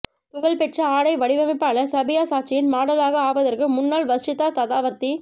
புகழ்பெற்ற ஆடை வடிவமைப்பாளர் சபியா சாச்சியின் மாடலாக ஆவதற்கு முன்னால் வர்ஷிதா ததாவர்த்தி